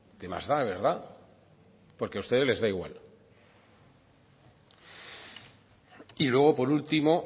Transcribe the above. qué más da verdad porque a ustedes les da igual y luego por último